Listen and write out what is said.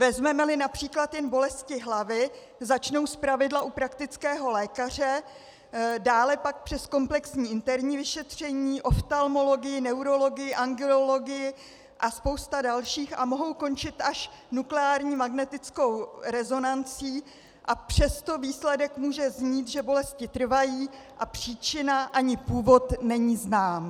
Vezmeme-li například jen bolesti hlavy, začnou zpravidla u praktického lékaře, dále pak přes komplexní interní vyšetření, oftalmologii, neurologii, angiologii a spoustu dalších a mohou končit až nukleární magnetickou rezonancí, a přesto výsledek může znít, že bolesti trvají a příčina ani původ není znám.